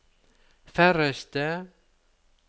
færreste